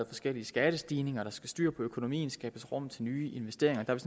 forskellige skattestigninger der skal styr på økonomien og skabes rum til nye investeringer der er